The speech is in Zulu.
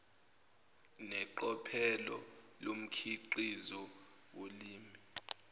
neqophelo lomkhiqizo wolimi